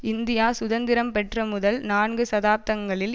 India சுதந்திரம் பெற்ற முதல் நான்கு தசாப்தங்களில்